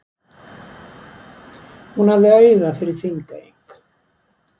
Hún hafði auga fyrir Þingeying.